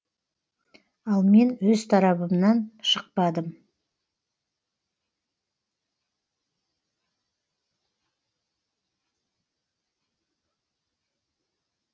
ал мен өз тарабымнан шықпадым